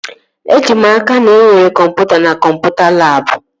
Eji m n'aka, na enwere kọmputa na kọmputa labụ